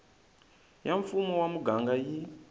ya mfumo wa muganga yi